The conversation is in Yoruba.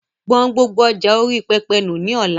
Gbọn gbogbo ọjà orí pẹpẹ nù lọ́la!